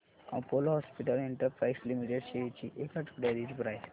Apollo hospitals enterprise limited shares ची एक आठवड्या आधीची प्राइस